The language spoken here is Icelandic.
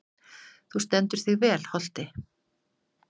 Þú stendur þig vel, Holti!